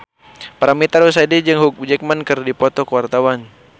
Paramitha Rusady jeung Hugh Jackman keur dipoto ku wartawan